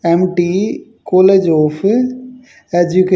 MT college of एजुके--